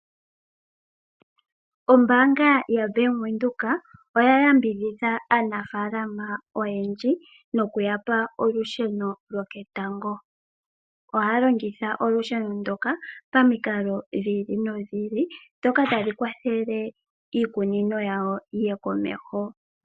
Ombaanga yaBank Windhoek oya yambidhidha aanafaalama oyendji nokuya pa olusheno loketango. Ohaya longitha olusheno ndoka pamikalo dhi ili nodhi ili ndhoka tadhi kwathele iikunino yawo yiye komeho.